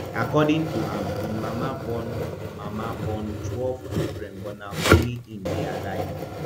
according to am im mama born mama born twelve children but na only im dey alive